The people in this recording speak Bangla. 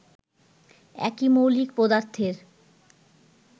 একই মৌলিক পদার্থের